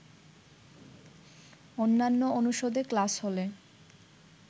অন্যান্য অনুষদে ক্লাস হলে